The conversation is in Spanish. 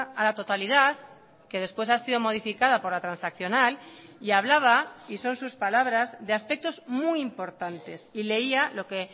a la totalidad que después ha sido modificada por la transaccional y hablaba y son sus palabras de aspectos muy importantes y leía lo que